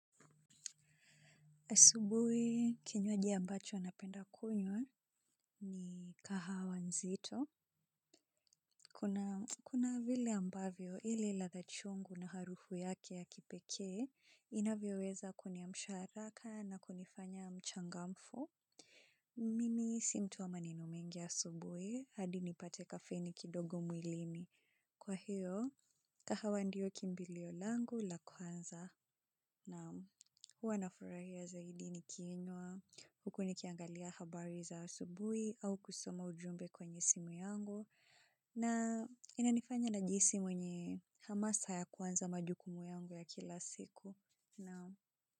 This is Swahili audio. Asubuhi kinywaji ambacho napenda kunywa ni kahawa nzito. Kuna vile ambavyo ile ladha chungu na harufu yake ya kipekee, inavyoweza kuniamsha haraka na kunifanya mchangamfu. Mimi si mtu wa maneno mengi asubuhi, hadi nipate kafeni kidogo mwilini. Kwa hiyo, kahawa ndiyo kimbilio langu la kwanza. Naam huwa nafurahia zaidi nikinywa, huku nikiangalia habari za asubuhi au kusoma ujumbe kwenye simu yangu na inanifanya najihisi mwenye hamasa ya kuanza majukumu yangu ya kila siku.